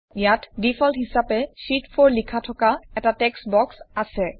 ইয়াত ডিফল্ট হিচাপে শীত 4 লিখা থকা এটা টেক্সট বক্স আছে